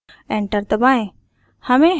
enter दबाएँ